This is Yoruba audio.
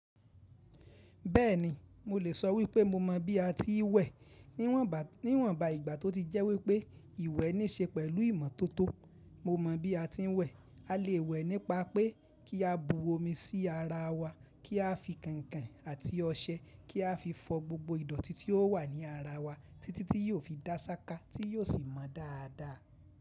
Bẹ́ẹ̀ni, mo lè sọ wípé mo mọ bí a ti ń wẹ̀ niwon gba níwọ̀nba ìgbà tó ti jẹ́ wípé ìwẹ̀ níí ṣe pẹ̀lú ìmọ́tótó. Mo mọ bí a ti ń wẹ̀. A lè wẹ̀ nípa pé kí á bu omi sí ara wa, kí a fi kànkàn àti ọṣẹ, kí a fi fọ gbogbo ìdọ̀tí tí ó wà ní ara wa títí tí yóò fi dá ṣáká tí yóò sì mọ dáadáa.